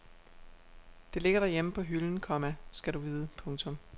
Det ligger derhjemme på hylden, komma skal du vide. punktum